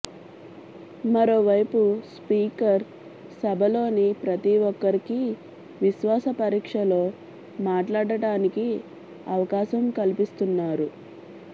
మరోవైపు స్పీకర్ సభలోని ప్రతి ఒక్కరికి విశ్వాస పరీక్షలో మాట్లాడటానికి అవకాశం కల్పిస్తున్నారు